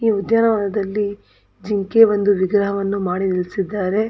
ಈ ಉದ್ಯಾನವನದಲ್ಲಿ ಜಿಂಕೆಯ ಒಂದು ವಿಗ್ರಹವನ್ನು ಮಾಡಿ ನಿಲ್ಲಿಸಿದ್ದಾರೆ.